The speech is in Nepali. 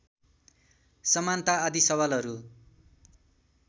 समानता आदि सवालहरू